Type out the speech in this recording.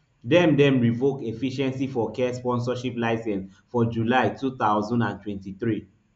dem dem revoke efficiency for care sponsorship licence for july two thousand and twenty-three